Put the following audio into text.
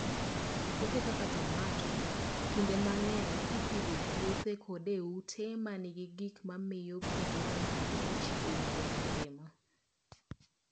Puothe kaka tomato, kinde mang'eny ipidho e puothe koda e ute ma nigi gik ma miyo pi bedo mang'ich e higa mangima.